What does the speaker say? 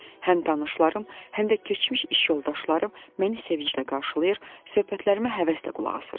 Həm tanışlarım, həm də keçmiş iş yoldaşlarım məni sevinclə qarşılayır, söhbətlərimə həvəslə qulaq asırdılar.